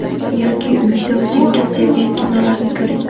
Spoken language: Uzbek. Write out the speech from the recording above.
Yoki uyda o‘zingiz sevgan kinolarni ko‘ring.